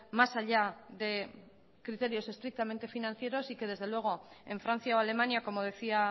más allá de criterios estrictamente financieros y que desde luego en francia o alemania como decía